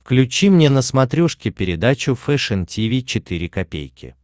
включи мне на смотрешке передачу фэшн ти ви четыре ка